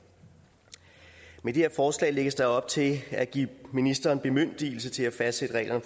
med det her forslag lægges der op til at give ministeren bemyndigelse til at fastsætte regler